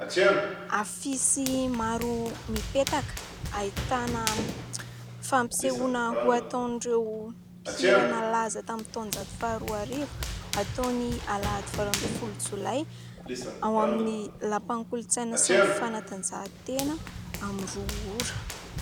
Afisy maro mipetaka ahitana fampisehoana ho ataon'ireo mpihira nalaza tamin'ny taonjato faha roarivo, hatao ny alahady valo ambin'ny folo jolay, ao amin'ny lapan'ny kolontsaina sy fanatanjahan-tena amin'ny roa ora.